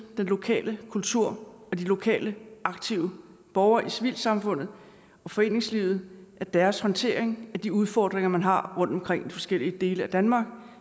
den lokale kultur og de lokale aktive borgere i civilsamfundet og foreningslivet og deres håndtering af de udfordringer man har rundtomkring i de forskellige dele af danmark og